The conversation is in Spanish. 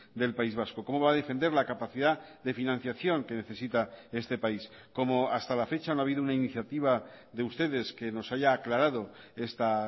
del país vasco cómo va a defender la capacidad de financiación que necesita este país como hasta la fecha no ha habido una iniciativa de ustedes que nos haya aclarado esta